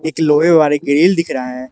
एक लोहे वाली ग्रिल दिख रहा है।